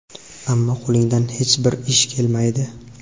ammo qo‘lingdan hech bir ish kelmaydi.